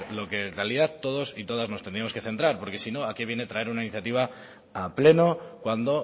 lo que en realidad todos y todas nos teníamos que centrar porque si no a qué viene traer una iniciativa a pleno cuando